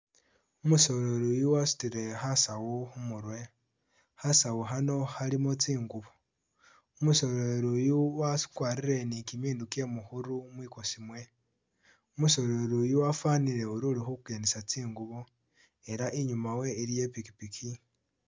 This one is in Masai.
Umusoleri yuu wasutile khasawu khumurwe khasawu khano khalimo tsingubo umusoleri yuu wakwarile ni kimindu kyemukhuru kimibesemu, umusoleri yuu wafunile uri ulikhukendesa tsingubo elah inyuma we iliyo ipikipiki